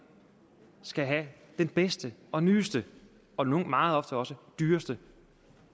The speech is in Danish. skal have den bedste og nyeste og meget ofte også dyreste